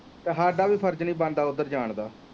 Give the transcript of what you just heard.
ਤੇ ਸਾਡਾ ਵੀ ਫਰਜ ਨੀ ਬਣ ਦਾ ਉੱਧਰ ਜਾਣ ਦਾ